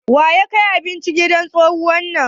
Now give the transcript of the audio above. Wa ya kai abinci gidan tsohuwar nan?